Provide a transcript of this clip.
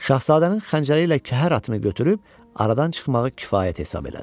Şahzadənin xəncəri ilə kəhər atını götürüb aradan çıxmağı kifayət hesab elədi.